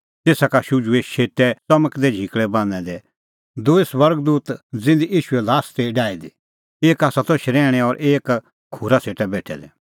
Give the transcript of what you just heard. तेसा का शुझुऐ शेतै च़मकदै झिकल़ै बान्हैं दै दूई स्वर्ग दूत ज़िधी ईशूए ल्हास ती डाही दी एक आसा त शरैहणैं और एक खूरा सेटा बेठै दै